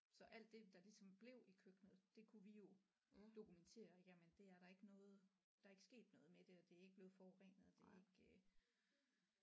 Så alt det der ligesom blev i køkkenet det kunne vi jo dokumentere jamen det er der ikke noget der er ikke sket noget det og det er ikke blevet forurenet og det er ikke øh